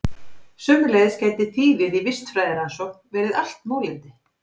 Sömuleiðis gæti þýðið í vistfræðirannsókn verið allt mólendi.